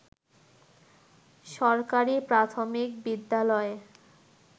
সরকারি প্রাথমিক বিদ্যালয়ে